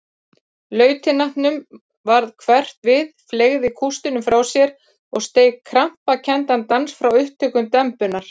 Lautinantinum varð hverft við, fleygði kústinum frá sér og steig krampakenndan dans frá upptökum dembunnar.